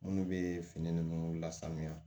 Minnu bɛ fini ninnu lasanya